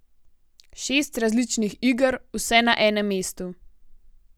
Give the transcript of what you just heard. Šest različnih iger, vse na enem mestu.